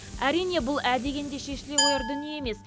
әрине бұл ә дегенде шешіле қояр дүние емес